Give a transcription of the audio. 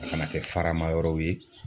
A kana kɛ farama yɔrɔw ye.